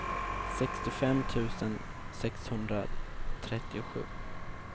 sextiofem tusen sexhundratrettiosju